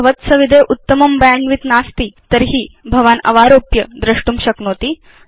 यदि भवत्सविधे उत्तमं बैण्डविड्थ नास्ति तर्हि भवान् अवारोप्य द्रष्टुं शक्नोति